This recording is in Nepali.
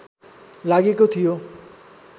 लागेको थियो